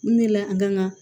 Mun de la an kan ka